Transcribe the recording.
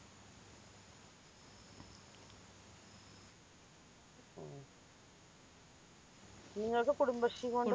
നിങ്ങൾക്ക് കുടുംബശ്രീകൊണ്ട്